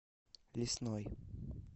лесной